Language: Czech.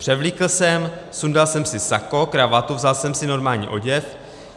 Převlíkl jsem, sundal jsem si sako, kravatu, vzal jsem si normální oděv.